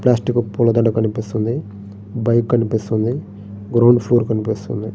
Plastic పూలదండ కనిపిస్తుంది bike కనిపిస్తుంది గ్రౌండ్ ఫ్లోర్ కనిపిస్తుంది.